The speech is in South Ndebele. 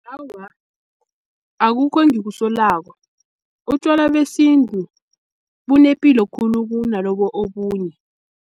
Awa, akukho engikusolako, utjwala besintu bunepilo khulu kunalobu obunye.